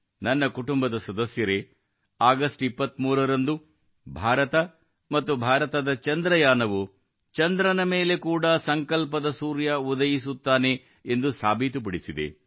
ನನ್ನ ಕುಟುಂಬ ಸದಸ್ಯರೆ ಆಗಸ್ಟ್ 23 ರಂದು ಭಾರತ ಮತ್ತು ಭಾರತದ ಚಂದ್ರಯಾನವು ಚಂದ್ರನ ಮೇಲೆ ಕೂಡ ಸಂಕಲ್ಪದ ಸೂರ್ಯ ಉದಯಿಸುತ್ತಾನೆ ಎಂದು ಸಾಬೀತುಪಡಿಸಿದೆ